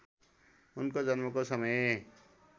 उनको जन्मको समय